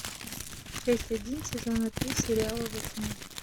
часть один сезона три сериала во тьме